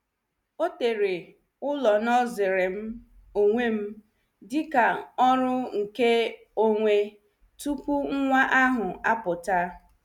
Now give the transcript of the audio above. Ọ tere ụlọ noosuri m onwem dịka ọrụ nke onwe tupu nwa ahụ apụta.